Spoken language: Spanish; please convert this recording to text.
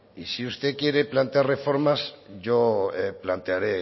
y si usted quiere plantear reformas yo plantearé